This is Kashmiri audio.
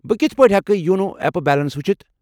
بہٕ کتھہٕ پٲٹھۍ ہٮ۪کہٕ یونو ایپ بیلنس وُچھِتھ؟